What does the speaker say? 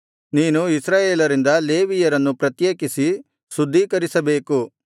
ನೀನು ಇಸ್ರಾಯೇಲರಿಂದ ಲೇವಿಯರನ್ನು ಪ್ರತ್ಯೇಕಿಸಿ ಶುದ್ಧೀಕರಿಸಿಬೇಕು